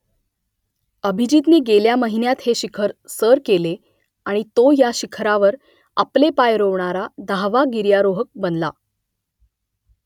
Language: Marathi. अभिजीतने गेल्या महिन्यात हे शिखर सर केले आणि तो या शिखरावर आपले पाय रोवणारा दहावा गिर्यारोहक बनला